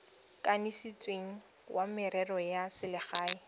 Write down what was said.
kanisitsweng wa merero ya selegae